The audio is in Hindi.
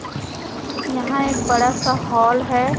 यहां एक बड़ा सा हॉल है।